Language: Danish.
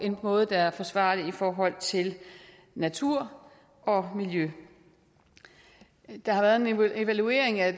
en måde der er forsvarlig i forhold til natur og miljø der har været en evaluering af